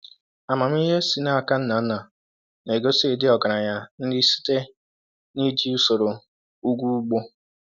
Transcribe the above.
Amamihe e si n’aka nna nna na-egosi ịdị ọgaranya nri site n’iji usoro ugwu ugbo.”